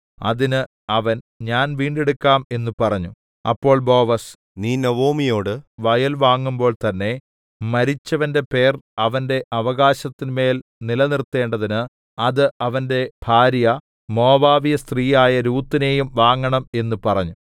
അതിന് അവൻ ഞാൻ വീണ്ടെടുക്കാം എന്ന് പറഞ്ഞു അപ്പോൾ ബോവസ് നീ നൊവൊമിയോടു വയൽ വാങ്ങുമ്പോൾ തന്നെ മരിച്ചവന്റെ പേർ അവന്റെ അവകാശത്തിന്മേൽ നിലനിർത്തേണ്ടതിന് അത് അവന്റെ ഭാര്യ മോവാബ്യസ്ത്രീയായ രൂത്തിനെയും വാങ്ങണം എന്നു പറഞ്ഞു